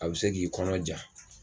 A bi se k'i kɔnɔja